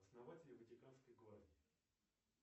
основатели ватиканской гвардии